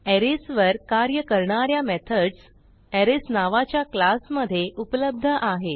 arrays वर कार्य करणा या मेथडस अरेज नावाच्या क्लास मधे उपलब्ध आहेत